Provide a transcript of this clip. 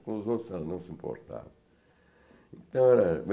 Os outros não se importavam.